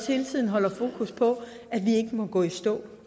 hele tiden holder fokus på at vi ikke må gå i stå